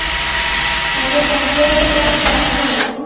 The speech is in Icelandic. Það geta nú fleiri gert það en þú.